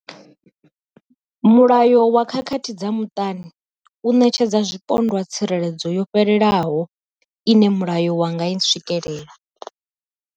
Mulayo wa khakhathi dza muṱani u ṋetshedza zwipondwa tsireledzo yo fhelelaho ine mulayo wa nga i swikela.